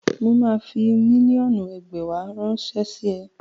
Mà á fi mílíọ̀nù ẹgbàwá ránṣẹ́ sí ọ.